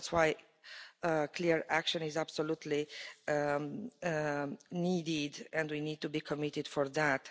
So that's why clear action is absolutely needed, and we need to be committed to that.